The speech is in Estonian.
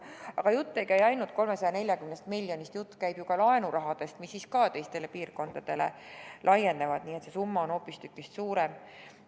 Aga jutt ei käi ainult 340 miljonist, jutt käib ju ka laenurahadest, mis ka teistele piirkondadele võiks laieneda, nii et see summa on hoopistükkis suurem.